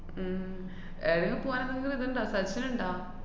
ഉം ഏടെങ്കിലും പോവാനാണെങ്കി ഇത്ണ്ടാ സച്ചിനൊണ്ടാ?